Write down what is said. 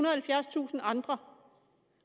og halvfjerdstusind andre